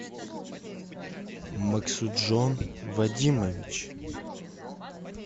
максуджон вадимович